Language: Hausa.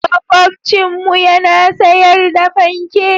Makwabcinmu yana sayar da fanke.